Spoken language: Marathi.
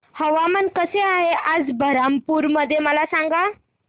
हवामान कसे आहे आज बरहमपुर मध्ये मला सांगा